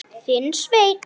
Þinn, Sveinn.